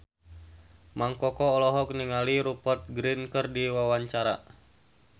Mang Koko olohok ningali Rupert Grin keur diwawancara